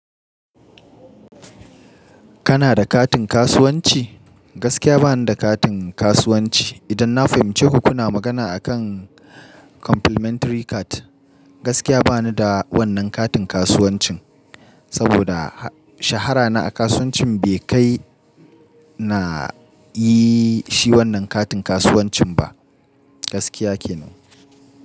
Kana da katin kasuwanci? Gaskiya ba ni da katin kasuwanci. Idan na fahimci ku kuna magana akan complimentary card, gaskiya ba ni da wannan katin kasuwancin. Saboda shahara na a kasuwancin bai kai na yi shi wannan katin kasuwancin ba. Gaskiya kenan.